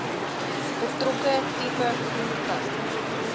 betrokke tipe voertuig